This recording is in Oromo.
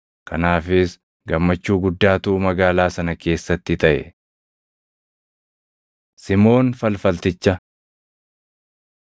Kanaafis gammachuu guddaatu magaalaa sana keessatti taʼe. Simoon Falfalticha